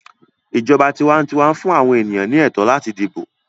ìjọba tiwantiwa fún àwọn ènìyàn ní ẹtọ láti dibo.